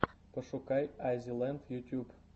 пошукай аззи ленд ютьюб